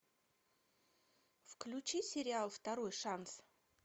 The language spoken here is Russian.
включи сериал второй шанс